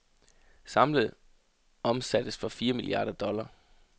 Samlet omsattes for fire milliarder dollar.